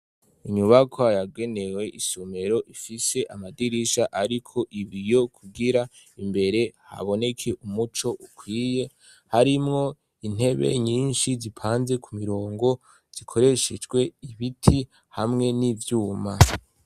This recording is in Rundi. Inyubaka yagenewe isumero ifise amadirisha, ariko ibi yo kugira imbere haboneke umuco ukwiye harimwo intebe nyinshi zipanze ku mirongo zikoreshejwe ibiti hamwe n'ivyuma.